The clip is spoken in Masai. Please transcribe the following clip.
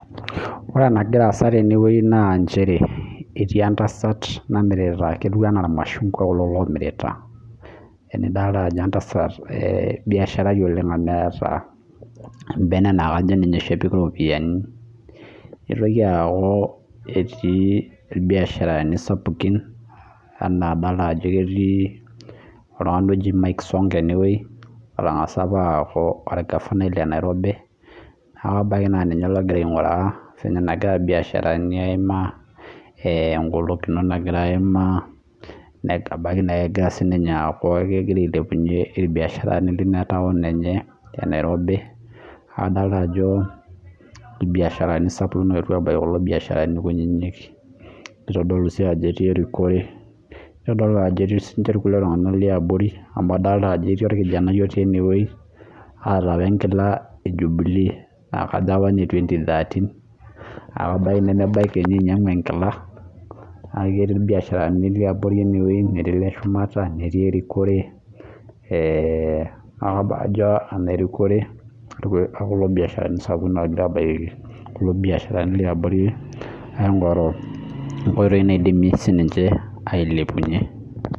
ore ena naa entasat namirita irmashungua naa idoolta ajo entasat biasharai oleng amuu adoolta ajo keeta embene naa kajo ninye epik iropiani nadoolta ajo ketii irbiasharani sapukin amuu kadoolta mike sonko otangasa apa aaku orgafanai le Nairobi neeku kajo ninye ogira ainguraa ene ailepunye irbiaasharani kutitik amuu etii siininye oltungani oota enkila e jubelee naa kajo ene 2013 ebaiki nimidim ainyangu enkila neeku kajo irbiasharani sapukin oetuo aingoru eniko piilepunye irbiasharani kutitik